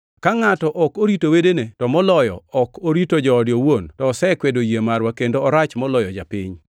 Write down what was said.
Ka ngʼato ok orito wedene, to moloyo ka ok orito joode owuon, to osekwedo yie marwa, kendo orach moloyo japiny.